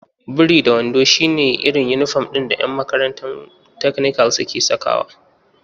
Biri-da-wando shi ne irin inifom ɗin da ƴan makarantun takanikal suke sakawa